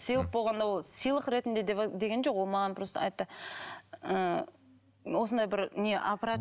сыйлық болғанда ол сыйлық ретінде деген жоқ ол маған просто айтты ы осындай бір не аппарат